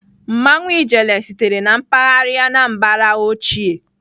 Mmanwụ ijele sitere na mpaghara Anambra ochie.